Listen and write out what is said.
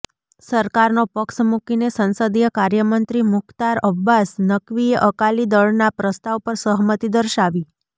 સરકારનો પક્ષ મૂકીને સંસદીય કાર્યમંત્રી મુખ્તાર અબ્બાસ નક્વીએ અકાલી દળના પ્રસ્તાવ પર સહમતી દર્શાવી